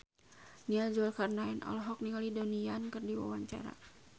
Nia Zulkarnaen olohok ningali Donnie Yan keur diwawancara